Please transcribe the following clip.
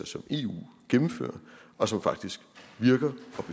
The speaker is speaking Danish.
som eu gennemfører og som faktisk virker og